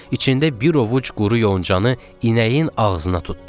İçində bir ovuc quru yoncanı inəyin ağzına tutdu.